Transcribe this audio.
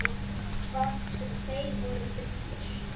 Hvað sem þeir voru fullir.